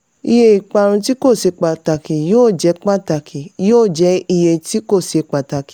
iye ìparun tí kò ṣe pàtàkì yóò jẹ́ pàtàkì yóò jẹ́ iye tí kò ṣe pàtàkì.